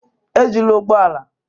Ejila ụgbọ ala.